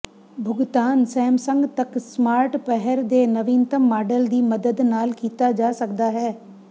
ਭੁਗਤਾਨ ਸੈਮਸੰਗ ਤੱਕ ਸਮਾਰਟ ਪਹਿਰ ਦੇ ਨਵੀਨਤਮ ਮਾਡਲ ਦੀ ਮਦਦ ਨਾਲ ਕੀਤਾ ਜਾ ਸਕਦਾ ਹੈ